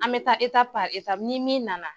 An bɛ taa ni min na na